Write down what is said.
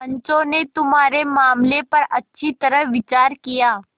पंचों ने तुम्हारे मामले पर अच्छी तरह विचार किया